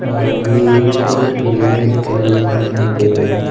और ये एक पिंजडे में कैद दिखाई दे रहा है।